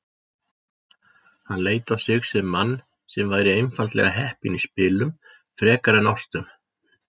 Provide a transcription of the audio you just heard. Hann leit á sig sem mann sem væri einfaldlega heppinn í spilum. frekar en ástum.